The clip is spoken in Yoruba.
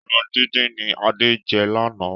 Ẹran díndín ni Adé jẹ lánàá.